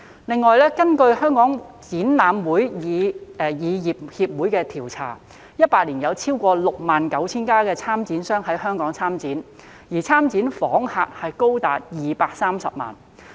此外，根據香港展覽會議業協會的調査 ，2018 年有超過 69,000 家參展商在香港參展，而參展訪客人數高達230萬。